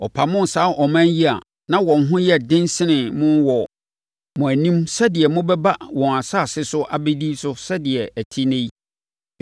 Ɔpamoo saa aman yi a na wɔn ho yɛ den sene mo wɔ mo anim sɛdeɛ mobɛba wɔn asase so abɛdi so sɛdeɛ ɛte ɛnnɛ yi.